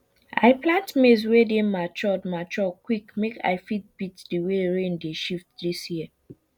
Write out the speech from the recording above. i plant maize wey dey mature mature quick make i fit beat the way rain dey shift this year